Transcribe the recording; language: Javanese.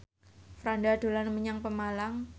Franda dolan menyang Pemalang